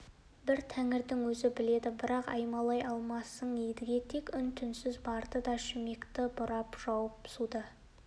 бір тәңірі өзі біледі бірақ аймалай алмассың едіге тек үн-түнсіз барды да шүмекті бұрап жауып суды